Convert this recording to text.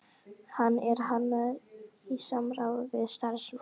Hann er hannaður í samráði við starfsmenn